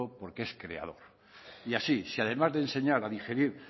porque es creador y así si además de enseñar a digerir